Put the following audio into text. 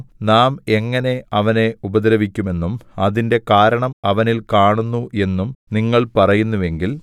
നാം എങ്ങനെ അവനെ ഉപദ്രവിക്കുമെന്നും അതിന്റെ കാരണം അവനിൽ കാണുന്നു എന്നും നിങ്ങൾ പറയുന്നുവെങ്കിൽ